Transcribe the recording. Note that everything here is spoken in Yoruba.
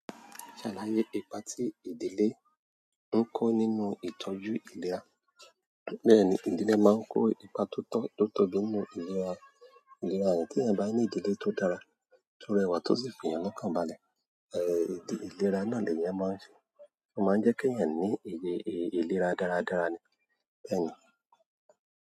Ṣàlàyé ipa tí ìdílé ń kó nínú ìtọ́jú ìlera. Bẹ́ẹ̀ni, ìdílé máa ń kó ipa tó tọ́, tó tóbí nínú ìlera, ìlera yẹn tí ènìyàn bá ní ìdílé tó dára tó rẹwà tó sì fi ènìyàn lọ́kànbalẹ̀, ìlera náà ni ènìyàn máa ń ṣe, ó máa ń jẹ́ kí ènìyàn ní ìlera dára dára ni. Bẹ́ẹ̀ni.